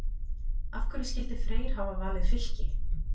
Af hverju skyldi Freyr hafa valið Fylki?